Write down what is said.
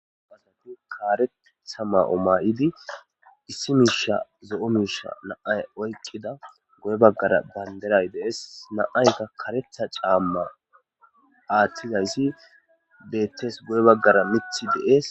Nam'u kareththa ma'o may'idi issi miisha zo'o miisha na"ay oyqidda goye baggara bandirray dees na'ayikka kareththa camma aathtizaysi bettees guye baggara mithi de'ees